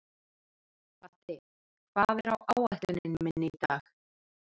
Patti, hvað er á áætluninni minni í dag?